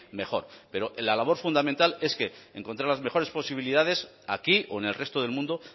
mejor pero la labor fundamental es que encontrar las mejores posibilidades aquí o en el resto del mundo